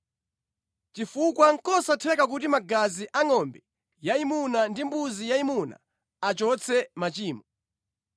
Chifukwa nʼkosatheka kuti magazi angʼombe yayimuna ndi mbuzi yayimuna achotse machimo.